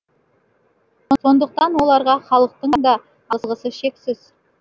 сондықтан оларға халықтың да алғысы шексіз